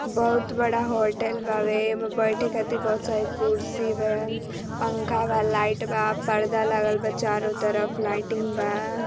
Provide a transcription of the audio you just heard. बहुत बड़ा होटल बावे एमा बैठे खाते बहुत सारी कुर्सी बा पंखा बा लाइट बा पर्दा लगल बा चारों तरफ लाइटिंग बा।